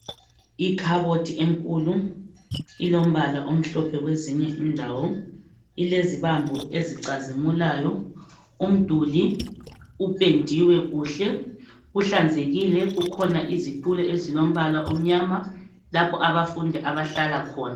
Ikhabothi enkulu ilombala omhlophe kwezinye indawo ilezibambo ezicazimulayo umduli upendiwe kuhle kuhlanzekile kukhona izitulo ezilombala omnyama lapho abafundi abahlala khona.